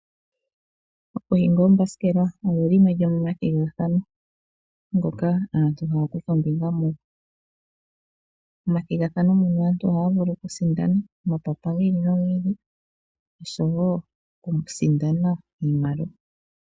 Okuhinga oombasikela, osho shimwe shomomathigathano, ngoka aantu haya kutha ombinga. Momathigathano muno aantu ohaya vulu okusindana omapapa gi ili nogi ili, oshowo okusindana iimaliwa.